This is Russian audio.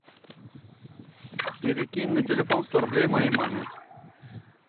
перекинь на телефон сто рублей моей маме